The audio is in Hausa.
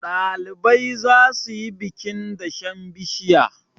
ɗalibai za su yi bikin dashen bishiya